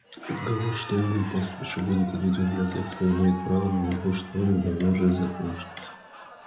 разговоры что угол пастбища будет отведён для тех кто имеет право на заслуженный отдых давно уже закончился